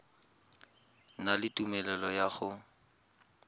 na le tumelelo ya go